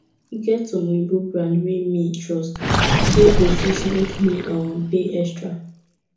e get some oyinbo brand wey me trust wey go fit make me um pay extra